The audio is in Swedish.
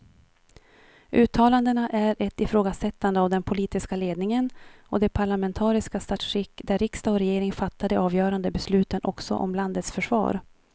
Uttalandena är ett ifrågasättande av den politiska ledningen och det parlamentariska statsskick där riksdag och regering fattar de avgörande besluten också om landets försvar.